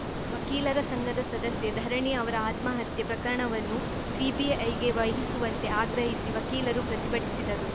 ವಕೀಲರ ಸಂಘದ ಸದಸ್ಯೆ ಧರಣಿ ಅವರ ಆತ್ಮಹತ್ಯೆ ಪ್ರಕರಣವನ್ನು ಸಿಬಿಐಗೆ ವಹಿಸುವಂತೆ ಆಗ್ರಹಿಸಿ ವಕೀಲರು ಪ್ರತಿಭಟಿಸಿದರು